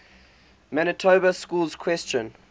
manitoba schools question